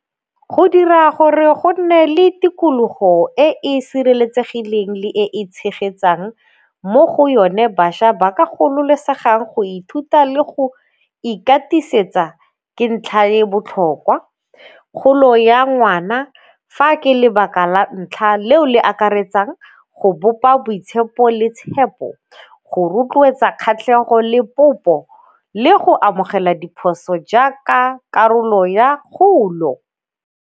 Go dira gore go nne le tikologo e e sireletsegileng le e e tshegetsang mo go yone bašwa ba ka gololosega go ithuta le go ikatiisetsa ke ntlha e e botlhokwa, kgolo ya ngwana. Fa ke lebaka la ntlha leo le akaretsang go bopa boitshepo le tshepo, go rotloetsa kgatlhego le popo le go amogela diphoso jaaka karolo ya kgolo.